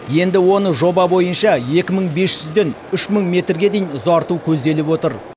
енді оны жоба бойынша екі мың бес жүзден үш мың метрге дейін ұзарту көзделіп отыр